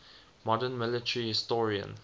modern military historian